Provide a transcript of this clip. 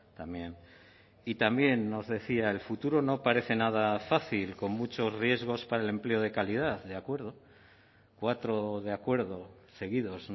también y también nos decía el futuro no parece nada fácil con muchos riesgos para el empleo de calidad de acuerdo cuatro de acuerdo seguidos